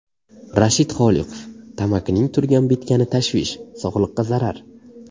Rashid Xoliqov: tamakining turgan-bitgani tashvish, sog‘liqqa zarar.